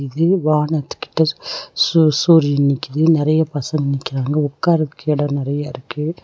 இது வானத்து கிட்ட சூ சூரியன் நிக்கிது நெறைய பசங்க நிக்கிறாங்க ஒக்காரதுக்கு எடோ நறைய இருக்கு.